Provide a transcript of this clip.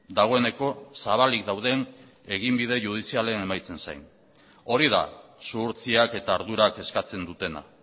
dagoeneko zabalik dauden eginbide judizialen emaitzen zen hori da zuhurtziak eta ardurak eskatzen dutena